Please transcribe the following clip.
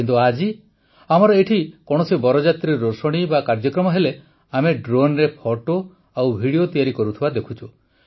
କିନ୍ତୁ ଆଜି ଆମର ଏଇଠି କୌଣସି ବରଯାତ୍ରୀ ରୋଷଣି ବା କାର୍ଯ୍ୟକ୍ରମ ହେଲେ ଆମେ ଡ୍ରୋନରେ ଫଟୋ ଓ ଭିଡିଓ ତିଆରି କରୁଥିବା ଦେଖୁଛୁ